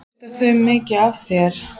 Skipta þau sér mikið af þér?